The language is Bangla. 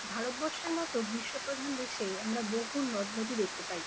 ভারতবর্ষের মতো বিশ্বপ্রধান দেশে আমরা বহু নদনদী দেখতে পাই।